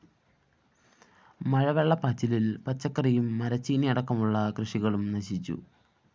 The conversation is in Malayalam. മഴവെള്ളപ്പാച്ചിലില്‍ പച്ചക്കറിയും മരച്ചീനിയടക്കമുള്ളകൃഷികളും നശിച്ചു